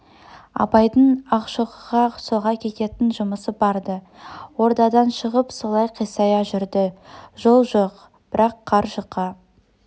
абайдың ақшоқыға соға кететін жұмысы бар-ды ордадан шығып солай қисая жүрді жол жоқ бірақ қар жұқа